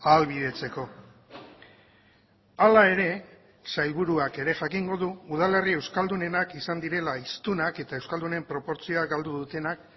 ahalbidetzeko hala ere sailburuak ere jakingo du udalerri euskaldunenak izan direla hiztunak eta euskaldunen proportzioa galdu dutenak